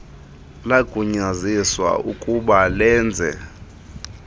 lagunyaziswa ukub alenze